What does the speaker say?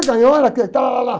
Você ganhou, era aqui e talalá.